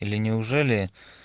или неужели